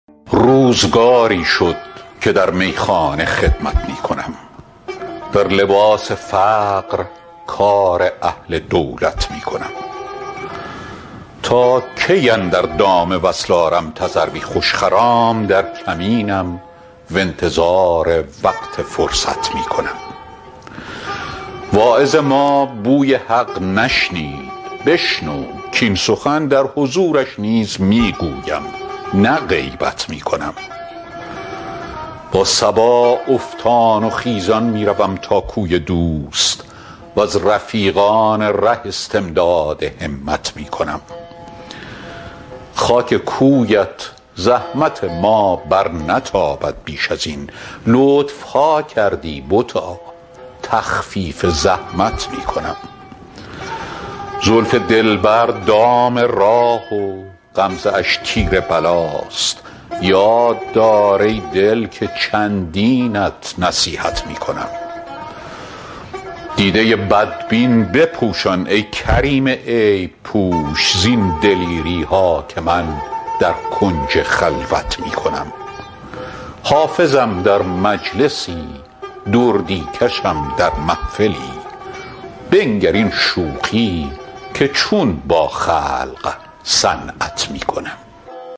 روزگاری شد که در میخانه خدمت می کنم در لباس فقر کار اهل دولت می کنم تا کی اندر دام وصل آرم تذروی خوش خرام در کمینم و انتظار وقت فرصت می کنم واعظ ما بوی حق نشنید بشنو کاین سخن در حضورش نیز می گویم نه غیبت می کنم با صبا افتان و خیزان می روم تا کوی دوست و از رفیقان ره استمداد همت می کنم خاک کویت زحمت ما برنتابد بیش از این لطف ها کردی بتا تخفیف زحمت می کنم زلف دلبر دام راه و غمزه اش تیر بلاست یاد دار ای دل که چندینت نصیحت می کنم دیده بدبین بپوشان ای کریم عیب پوش زین دلیری ها که من در کنج خلوت می کنم حافظم در مجلسی دردی کشم در محفلی بنگر این شوخی که چون با خلق صنعت می کنم